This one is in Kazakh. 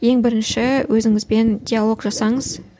ең бірінші өзіңізбен диалог жасаңыз